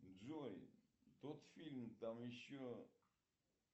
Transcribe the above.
джой тот фильм там еще